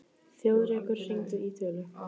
Þjóðrekur, hringdu í Þulu.